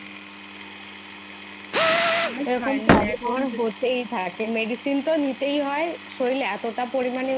medicine তো নিতেই হয় শরীর এতটা পরিমানে